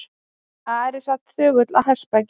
Ari sat þögull á hestbaki.